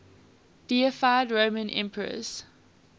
deified roman emperors